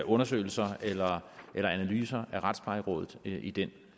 undersøgelser eller analyser af retsplejerådet i den